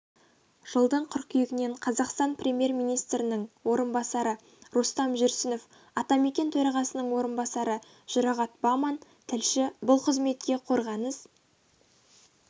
жылдың қыркүйегінен қазақстан премьер-министрінің орынбасары рустам жүрсінов атамекен төрағасының орынбасары жұрағат баман тілші бұл қызметке қорғаныс